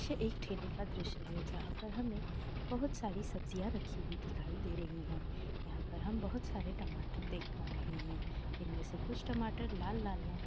दृष्य एक ठेले का दृश है जहा पर हमे बहुत सारी सब्जिय राखी हुई दिखाई दे रही है यहाँ पर हम बहुत सारे टमाटर देख पा रह है इनमें से कुछ टमाटर लाल लाल है।